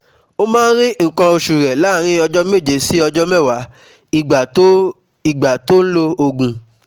Ó máa rí nǹkan oṣù rẹ̀ láàárín ọjọ́ méje sí ọjọ́ mẹ́wàá ìgbà tó ìgbà tó lo òògùn